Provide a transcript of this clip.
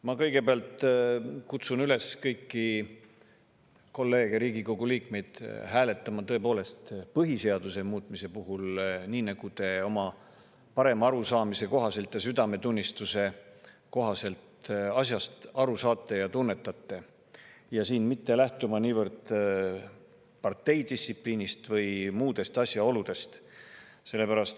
Ma kõigepealt kutsun üles kõiki kolleege, Riigikogu liikmeid, hääletama põhiseaduse muutmise üle tõepoolest nii, nagu te oma parema arusaamise kohaselt ja südametunnistuse kohaselt asjast aru saate ja tunnetate, aga mitte lähtuma niivõrd parteidistsipliinist või muudest asjaoludest.